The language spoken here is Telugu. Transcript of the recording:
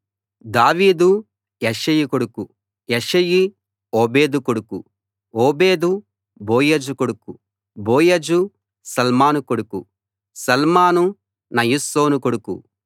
దావీదు యెష్షయి కొడుకు యెష్షయి ఓబేదు కొడుకు ఓబేదు బోయజు కొడుకు బోయజు శల్మాను కొడుకు శల్మాను నయస్సోను కొడుకు